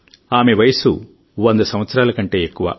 ఆమె వయస్సు 100 సంవత్సరాల కంటే ఎక్కువ